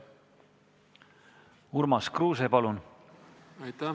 Urmas Kruuse, palun!